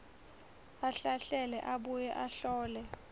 ahlahlele abuye ahlole